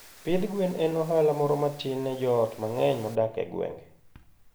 Pidh gwen en ohala moro matin ne joot mang'eny modak e gwenge.